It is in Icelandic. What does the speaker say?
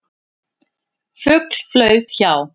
Fugl flaug hjá.